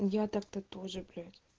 я так-то тоже блять